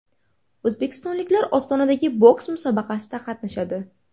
O‘zbekistonliklar Ostonadagi boks musobaqasida qatnashadi.